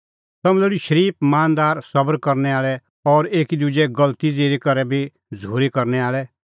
तम्हैं लोल़ी शरीफ मानदार सबर करनै आल़ै और एकी दुजे गलती ज़िरी करै बी झ़ूरी करनै आल़ै